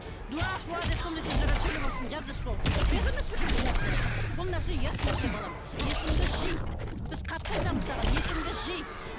дуа деп сондай сөздер сөйлеп отырсың жап жас болып ұят емес пе екен бұл нәрсе бұл нәрсе ұят нәрсе балам есіңді жи біз қатты айтамыз саған есіңді жи